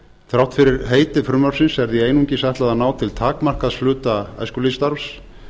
þrátt fyrir heiti frumvarpsins er því einungis ætlað að ná til takmarkaðs hluta æskulýðsstarfs